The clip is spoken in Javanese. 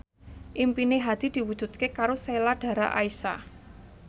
impine Hadi diwujudke karo Sheila Dara Aisha